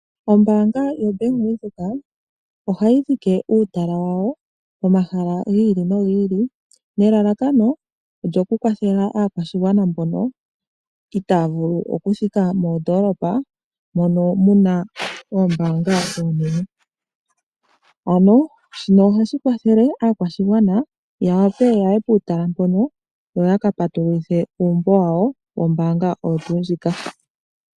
Ombaanga yaVenduka ohayi dhike uutala wayo pomahala gi ili nogi nelalakano okyo kukwathela aakwashigwana mbono itaya vulu okuthika moondoolopa mono muna oombanga oonene ano shino ohashi kwathele aakwashigwana ya wape yaye puutala mpono yo yaka patululithe uumbo wawo wombaanga oyo tuu ndjika.